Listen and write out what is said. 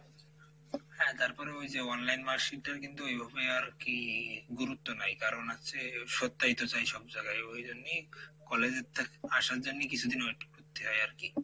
হ্যাঁ তারপরে ওইযে online marksheet টার কিন্তু ওইভাবে আরকি গুরুত্ব নাই কারন হচ্ছে সব জায়গায় ওই জন্যই college এর থেক আসার জন্যই কিছুদিন wait করতি হয় আরকি।